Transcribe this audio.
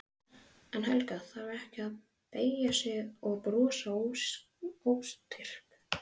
En Helga þarf ekki að beygja sig og brosa óstyrk.